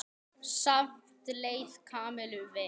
Samt leið Kamillu vel.